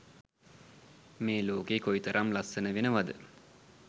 මේ ලෝකය කොයි තරම් ලස්සන වෙනවද?